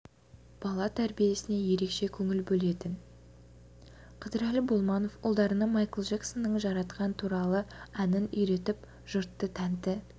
бала тәрбиесіне ерекше көңіл бөлетін қыдырәлі болманов ұлдарына майкл джексонның жаратқан туралы әнін үйретіп жұртты тәнті